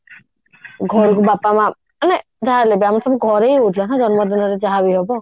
ଘରୁକୁ ବାପା ମାଆ ମାନେ ଯାହା ହେଲେ ବି ଆମର ସବୁ ଘରେ ହିଁ ହଉଥିଲା ନା ଜନ୍ମଦିନରେ ଯାହା ବି ହବ